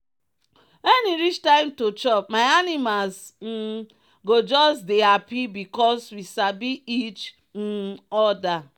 when e reach time to chopmy animals um go just dey happy because we sabi each um other.